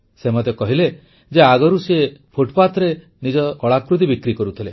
ସେ ମୋତେ କହିଲେ ଯେ ଆଗରୁ ସେ ଫୁଟ୍ପାଥରେ ନିଜର କଳାକୃତି ବିକ୍ରି କରୁଥିଲେ